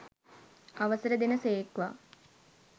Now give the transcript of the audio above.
අවසර දෙන සේක්වා!